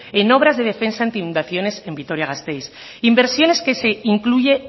en obras de defensa anti inundaciones en vitoria gasteiz inversiones que se incluye